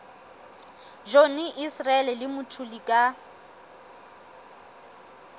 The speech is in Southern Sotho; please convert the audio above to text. johnny issel le mthuli ka